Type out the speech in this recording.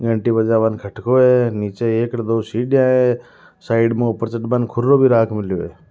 घंटी बजावन को खटको है निचे एक र दो सीढिया है साइड में ऊपर चढ़बा ने खुरो भी राख मेलियो है।